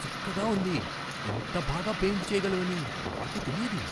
చక్కగా ఉంది! ఇంత బాగా పెయింట్ చేయగలవని నాకు తెలియదు!